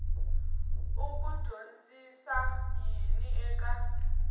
u ku dyondzisa yini eka